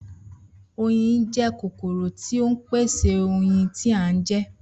Oyin jé̩ kòkòrò tí ó ń pèsè oyin tí a ń je̩